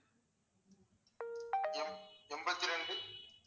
எண்பத்தி ரெண்டு